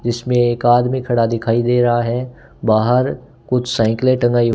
जिसमें एक आदमी खड़ा दिखाई दे रहा है बाहर कुछ साइकिले टगाई--